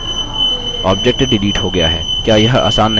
object delete हो गया है the यह isn नहीं है